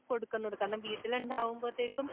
കൊടുക്കുന്നത് കാരണം വീട്ടിൽ ഇണ്ടാകുമ്പഴത്തെയ്ക്കും